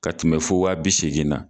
K'a tun bɛ fɔ wa bi segin na